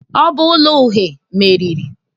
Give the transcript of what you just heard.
Ọ bụ ụlọ uhe meriri.